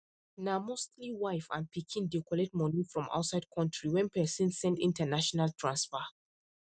na mostly wife and pikin dey collect money from outside country when person send international transfer